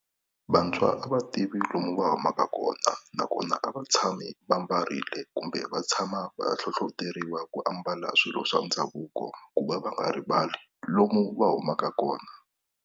Vantshwa a va tivi lomu va humaka kona nakona a va tshami va ambarile kumbe va tshama va hlohloteriwa ku ambala swilo swa ndhavuko ku va va nga rivali lomu va humaka kona.